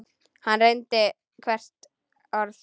Hann reyndi hvert hennar orð.